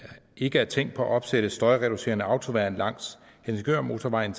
ikke er tænkt på at opsætte støjreducerende autoværn langs helsingørmotorvejen